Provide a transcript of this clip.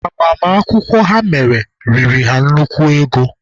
Agbamakwụkwọ ha mere riri ha nnukwu ego.